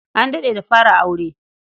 An daɗe da fara aure.